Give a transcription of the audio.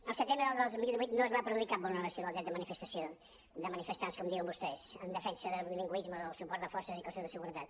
el setembre del dos mil divuit no es va produir cap vulneració del dret de manifestació o dels manifestants com diuen vostès en defensa del bilingüisme o el suport de forces i cossos de seguretat